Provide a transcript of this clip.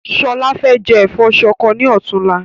Ṣọlá fẹ jẹ ẹ̀fọ́ ṣọkọ ni ọ̀túnla